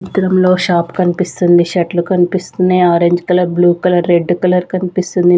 చిత్రంలో షాప్ కనిపిస్తుంది షర్ట్లు కనిపిస్తున్నాయి orange colour blue colour red colour కనిపిస్తుంది.